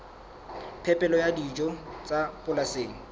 phepelo ya dijo tsa polasing